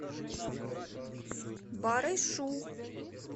барышу